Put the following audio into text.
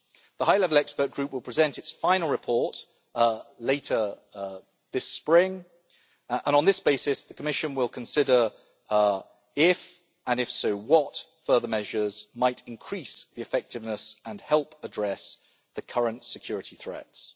The high level expert group will present its final report later this spring, and, on this basis, the Commission will consider if, and if so what, further measures might increase the effectiveness and help address the current security threats.